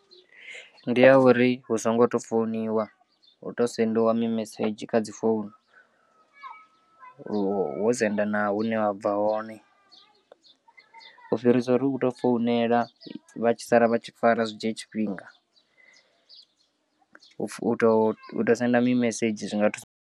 Ndi ya uri hu songo to founiwa hu to sengiwa mimesedzhi kha dzi founu wo senda naa hune wa bva hone u fhirisa uri u tou founela vha tshi sala vha tshi fara zwi dzhie tshifhinga, u tou u tou senda mimesedzhi zwi nga thusa.